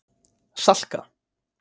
Salka